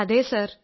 അതെ സർ